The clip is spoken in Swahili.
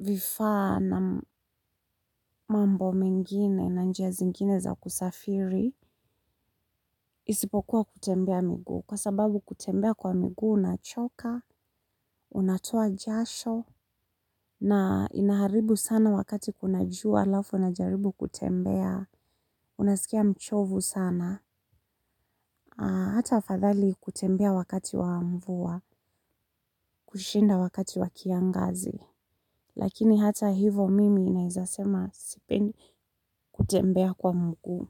vifa na mambo mengine na njia zingine za kusafiri, isipokuwa kutembea miguu. Kwa sababu kutembea kwa miguu, unachoka, unatoa jasho, na inaharibu sana wakati kuna jua, alafu unajaribu kutembea. Unasikia mchovu sana, hata afadhali kutembea wakati wa mvua, kushinda wakati wa kiangazi. Lakini hata hivo mimi naeza sema sipendi kutembea kwa mguu.